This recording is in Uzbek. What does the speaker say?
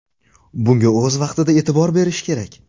Bunga o‘z vaqtida e’tibor berish kerak.